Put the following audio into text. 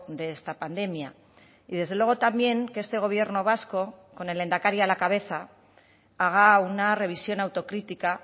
de esta pandemia y desde luego también que este gobierno vasco con el lehendakari a la cabeza haga una revisión autocrítica